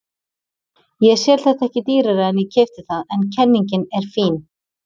Ég sel þetta ekki dýrara en ég keypti það en kenningin er fín.